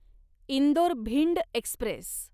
Indore Bhind Express